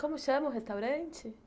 Como chama o restaurante?